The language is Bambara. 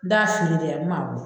N d'a fili dɛ ma